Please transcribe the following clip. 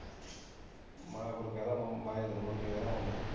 ਮੈਂ ਫਿਰ ਕਹਿ ਤਾਂ ਮੈਂ ਨੀ ਮੁੜ ਕੇ ਕਹਿੰਦਾ ਹੁੰਦਾ